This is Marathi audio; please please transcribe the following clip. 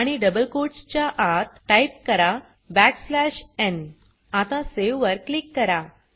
आणि डबल कोट्स च्या आत टाइप करा बॅक स्लॅश न् आता सावे वर क्लिक करा